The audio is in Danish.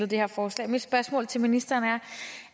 det her forslag mit spørgsmål til ministeren er